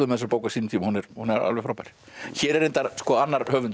þessa bók á sínum tíma hún er alveg frábær hér er reyndar annar höfundur